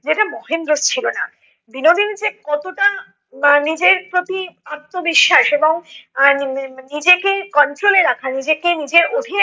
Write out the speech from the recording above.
যেটা মহেন্দ্রের ছিল না । বিনোদিনী যে কতটা আহ নিজের প্রতি আত্মবিশ্বাস এবং আহ মানে নিজেকে control এ রাখা, নিজেকে নিজের অধিনে